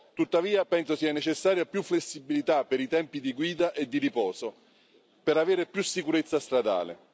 Tuttavia, penso sia necessaria più flessibilità per i tempi di guida e di riposo per avere più sicurezza stradale.